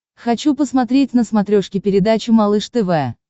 хочу посмотреть на смотрешке передачу малыш тв